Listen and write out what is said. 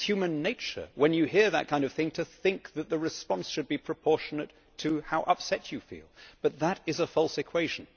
It is human nature, when you hear that kind of thing, to think that the response should be proportional to how upset you feel, but that is a false equation.